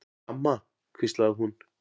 Amma, hvíslaði hún.